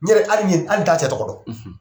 N yɛrɛ hali ni yɛrɛ t'a cɛ tɔgɔ dɔn.